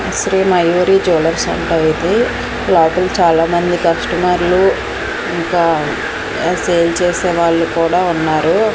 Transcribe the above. Shri Mayuri jewellers అంట ఇది లోపల చాలామంది కస్టమర్లు ఇంకా సేల్ చేసే వాళ్ళు కూడా ఉన్నారు.